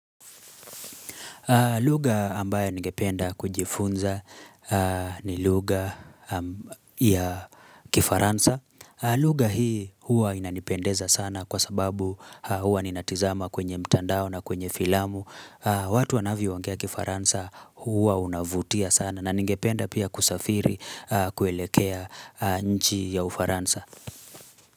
Lugha ambayo ningependa kujifunza ni lugha ya kifaransa. Lugha hii hua inanipendeza sana kwa sababu huwa ninatizama kwenye mtandao na kwenye filamu. Watu wanavyoongea kifaransa huwa unavutia sana. Na ningependa pia kusafiri kuelekea nchi ya ufaransa.